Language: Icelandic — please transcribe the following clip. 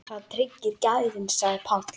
Það tryggir gæðin sagði Páll.